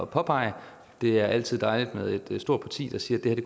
påpege det er altid dejligt med et stort parti der siger at det